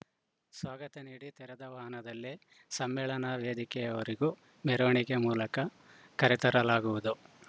ಸ್ವಾಗತ ನೀಡಿ ತೆರೆದ ವಾಹನದಲ್ಲಿ ಸಮ್ಮೇಳನ ವೇದಿಕೆಯವರೆಗೂ ಮೆರವಣಿಗೆ ಮೂಲಕ ಕರೆತರಲಾಗುವುದು